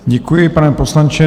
Děkuji, pane poslanče.